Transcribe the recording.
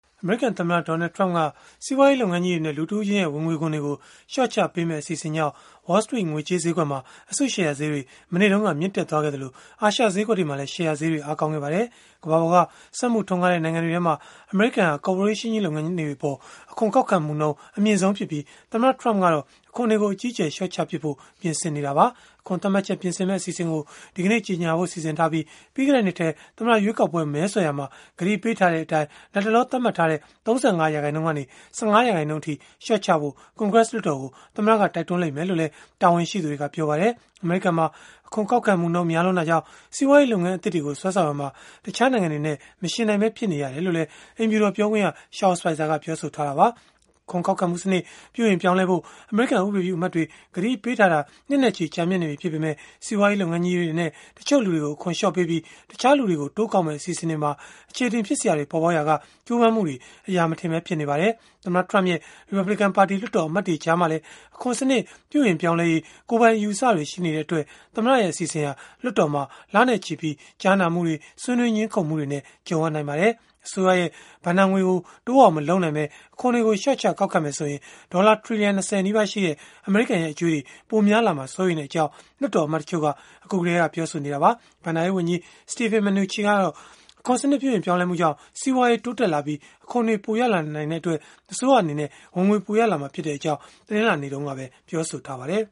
အမေရိကန် သမ္မတ Donald Trump က စီးပွားရေး လုပ်ငန်းကြီးတွေနဲ့ လူတဦးချင်းရဲ့ ဝင်ငွေခွန်တွေကို လျှော့ချပေးမယ့် အစီအစဉ်ကြောင့် Wall Street ငွေကြေးဈေးကွက်မှာ အစုရှယ်ယာဈေးတွေ မနေ့တုန်းက မြင့်တက်ခဲ့သလို၊ အာရှဈေးကွက်တွေမှာလည်း ရှယ်ယာဈေးတွေ အားကောင်းခဲ့ပါတယ်။ ကမ္ဘာပေါ်က စက်မှုထွန်းကားတဲ့ နိုင်ငံတွေထဲမှာ အမေရိကန်ဟာ ကော်ပိုရေးရှင်း လုပ်ငန်းကြီးတွေအပေါ် အခွန်ကောက်ခံမှုနှုန်း အမြင့်ဆုံးဖြစ်ပြီး သမ္မတ Trump ကတော့ အခွန်တွေကို အကြီးအကျယ် လျှော့ချပစ်ဖို့ ပြင်ဆင်နေတာပါ။ အခွန်သတ်မှတ်ချက် ပြင်ဆင်မယ့် အစီအစဉ်ကိုတော့ ဒီကနေ့ ကြေငြာဖို့ စီစဉ်ထားပြီး၊ ပြီးခဲ့တဲ့နှစ်ထဲ သမ္မတရွေးကောက်ပွဲ မဲဆွယ်ရာမှာ ကတိပေးထားတဲ့အတိုင်း လတ်တလော သတ်မှတ်ထားတဲ့ ၃၅ ရာခိုင်နှုန်းကနေ ၁၅ ရာခိုင်နှုန်းအထိ လျှော့ချဖို့ ကွန်ဂရက်လွှတ်တော်ကို သမ္မတက တိုက်တွန်းလိမ့်မယ်လို့လည်း တာဝန်ရှိသူတွေက ပြောပါတယ်။ အမေရိကန်မှာ အခွန်ကောက်ခံမှုနှုန်း များလွန်းတာကြောင့် စီးပွားရေး လုပ်ငန်းသစ်တွေကို ဆွဲဆောင်ရာမှာ တခြားနိုင်ငံတွေနဲ့ မယှဉ်နိုင်ပဲ ဖြစ်နေရတယ်လို့လည်း အိမ်ဖြူတော် ပြောခွင့်ရ Sean Spicer က ပြောဆိုခဲ့တာပါ။ အခွန်ကောက်ခံမှုစနစ် ပြုပြင်ပြောင်းလဲဖို့ အမေရိကန် ဥပဒေပြုအမတ်တွေ ကတိပေးထားတာ နှစ်နဲ့ချီ ရှိနေပြီဖြစ်ပေမဲ့၊ စီးပွားရေး လုပ်ငန်းကြီးတွေနဲ့ တချို့လူတွေကို အခွန်လျှော့ပေးပြီး၊ တခြားလူတွေကို တိုးကောက်မယ့် အစီအစဉ်တွေမှာ အခြေအတင် ဖြစ်စရာတွေ ပေါ်ပေါက်ခဲ့ရာက ကြိုးပမ်းမှုတွေ အရာမထင်ပဲ ဖြစ်နေပါတယ်။ သမ္မတ Trump ရဲ့ ရီပတ်ဘလစ်ကန်ပါတီ လွှတ်တော် အမတ်တွေ ကြားမှာလည်း အခွန်စနစ် ပြုပြင်ပြောင်းလဲရေး ကိုယ်ပိုင်အယူအဆတွေ ရှိနေတဲ့အတွက် သမ္မတရဲ့ အစီအစဉ်ဟာ လွှတ်တော်မှာ လနဲ့ချီ ကြားနာမှုတွေ၊ ဆွေးနွေးငြင်းခုန်မှုတွေ ကြုံရနိုင်ပါတယ်။ အစိုးရရဲ့ ဘဏ္ဍာငွေကို တိုးအောင်မလုပ်နိုင်ဘဲ၊ အခွန်တွေကို လျှော့ချကောက်ခံမယ်ဆိုရင် ဒေါ်လာ ထီလီယံ ၂၀ နီးပါးရှိတဲ့ အမေရိကန်ရဲ့ အကြွေးတွေ ပိုများလာမှာကို စိုးရိမ်တဲ့အကြောင်း လွှတ်တော်အမတ် တချို့က အခုကတည်းက ပြောဆိုနေကြတာပါ။ ဘဏ္ဍာရေးဝန်ကြီး Steven Mnuchin ကတော့ အခွန်စနစ် ပြုပြင်ပြောင်းလဲမှုကြောင့် စီးပွားရေး တိုးတက်လာပြီး၊ အခွန်တွေပိုရလာနိုင်တဲ့အတွက် အစိုးရက ဝင်ငွေပိုရလာမှာဖြစ်ကြောင်း တနင်္လာနေ့တုန်းကပဲ ပြောဆိုထားပါတယ်